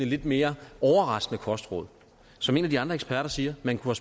lidt mere overraskende kostråd som en af de andre eksperter siger man kunne